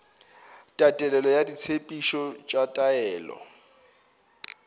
tatelelo ya ditshepetšo tša taolo